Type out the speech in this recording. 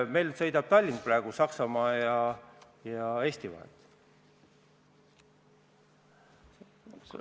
Meil sõidab praegu Tallink Saksamaa ja Eesti vahet.